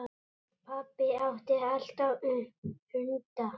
Pabbi átti alltaf hunda.